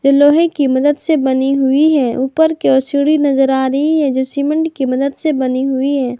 लोहे की मदद से बनी हुई है ऊपर की ओर सीढ़ी नजर आ रही है जो सीमेंट की मदद से बनी हुई है।